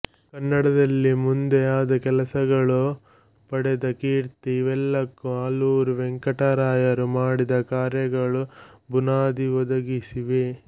ಕನ್ನಡದಲ್ಲಿ ಮುಂದೆ ಆದ ಕೆಲಸಗಳು ಪಡೆದ ಕೀರ್ತಿ ಇವೆಲ್ಲಕ್ಕೂ ಆಲೂರು ವೆಂಕಟರಾಯರು ಮಾಡಿದ ಕಾರ್ಯಗಳು ಬುನಾದಿ ಒದಗಿಸಿವೆ